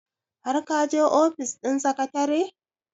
har ka je ofis ɗin secretary?